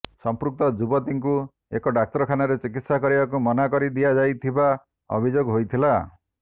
ସଂପୃକ୍ତ ଯୁବତୀଙ୍କୁ ଏକ ଡ଼ାକ୍ତରଖାନରେ ଚିକିତ୍ସା କରିବାକୁ ମନା କରିିଦିଆଯାଇଥିବା ଅଭିଯୋଗ ହୋଇଥିଲା